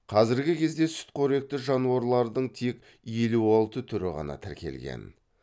қазіргі кезде сүтқоректі жануарлардың тек елу алты түрі ғана тіркелген